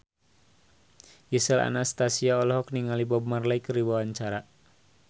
Gisel Anastasia olohok ningali Bob Marley keur diwawancara